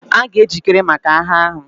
A ga-ejikere maka agha ahụ.